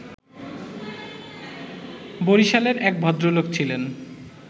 বরিশালের এক ভদ্রলোক ছিলেন